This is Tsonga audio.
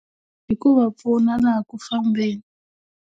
Hi ku va pfuna laha ku fambeni.